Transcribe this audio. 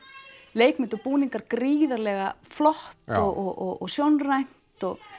leikmynd og búningar gríðarlega flott og sjónrænt og